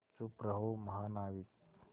चुप रहो महानाविक